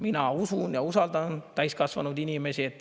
Mina usaldan täiskasvanud inimesi.